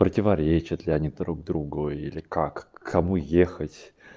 противоречат ли они друг другу или как к кому ехать